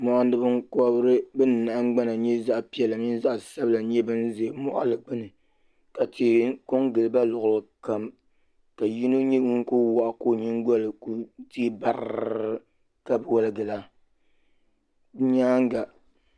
Mɔɣini binkobiri bini nahingbana zaɣi piɛlla mini zaɣi sabila nyɛ bini zɛ mɔɣili gbuni ka tihi ko n gili ba luɣuli kam ka yino nyɛ ŋuni kuli wɔɣa ka o yingoli kuli tɛɛ barrr ka wɔligi la.